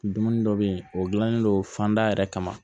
Dumuni dɔ bɛ yen o gilannen don fanda yɛrɛ kama